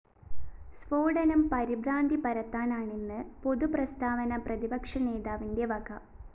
സ്‌ഫോടനം പരിഭ്രാന്തി പരത്താനാണെന്ന് പൊതു പ്രസ്താവന പ്രതിപക്ഷ നേതാവിന്റെ വക